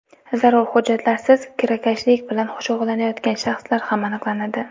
Zarur hujjatlarsiz kirakashlik bilan shug‘ullanayotgan shaxslar ham aniqlanadi.